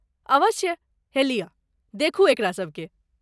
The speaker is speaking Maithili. अवश्य! हे लियऽ, देखू एकरा सभकेँ।